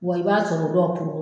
Wa i b'a sɔrɔ dɔ